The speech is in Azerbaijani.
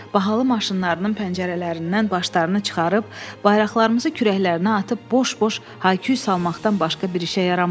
Bahalı maşınlarının pəncərələrindən başlarını çıxarıb bayraqlarımızı kürəklərinə atıb boş-boş hayküy salmaqdan başqa bir işə yaramırlar.